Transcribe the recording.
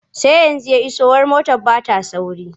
Sai yanzu ya iso wai motar ba ta sauri.